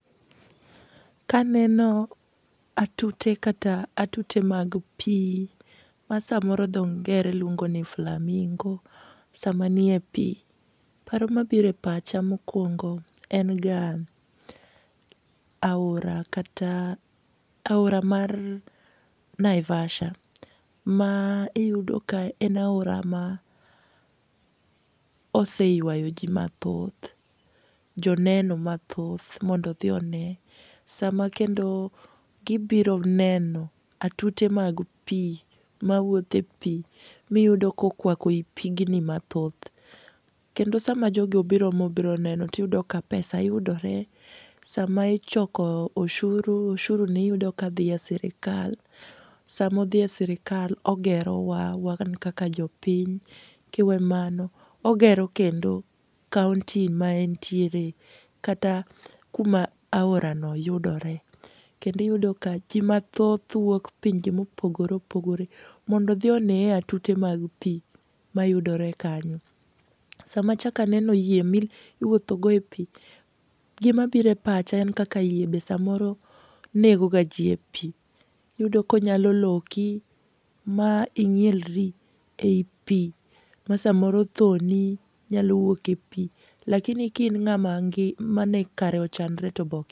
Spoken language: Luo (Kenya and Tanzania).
Ka aneno atute kata atute mag pi ma samoro dho ngere luongo ni famingo, sama nie pi. Paro mabiro e pacha mokwongo en ga aora kata, aora mar Naivasha. Ma iyudo ka en aora ma oseywayo ji mathoth. Joneno mathoth mondo odhi one. Sa ma kendo gibiro neno atute mag pi, mawuotho ei pi. Ma iyudo ka okwako i pigni mathoth. Kendo sa ma jogi obiro ma obiro neno, to iyudo ka pesa yudore. Sama ichoro ushuru, ushuru ni iyudo ka dhi e sirkal. Sama odhi e sirkal ogero wa, wan kaka jopiny. Kiwe mano, ogero kendo kaunti ma entiere, kata kuma aora no yudore. Kendo iyudo ka ji mathoth wuok pinje ma opogore opogore mondo odhi onee atute mag pi mayudore kanyo. Sama achak aneno yie ma iwuoth go e pi, gima biro e pacha en kaka yie be samoro negoga ji e pi. Iyudo ka onyalo loki ma inyielri ei pi, ma samoro tho ni nyalo wuok e pi. Lakini ka in ng'ama mane kare ochanore to be oki.